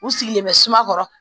U sigilen bɛ suma